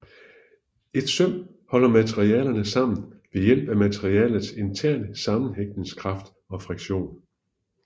Et søm holder materialerne sammen ved hjælp materialets interne sammenhængningskraft og friktion